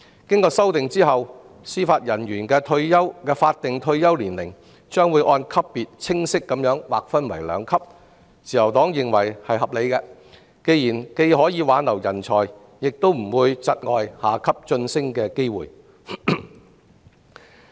經修訂後，司法人員的法定退休年齡將劃分為兩級，自由黨認為是合理的，既可挽留人才，亦不會窒礙下級法官及司法人員晉升。